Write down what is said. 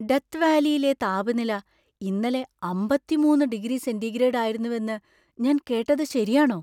Death വാലിയിലെ താപനില ഇന്നലെ അമ്പത്തി മൂന്ന് ഡിഗ്രി സെൻ്റിഗ്രേഡ് ആയിരുന്നുവെന്ന് ഞാൻ കേട്ടത് ശരിയാണോ?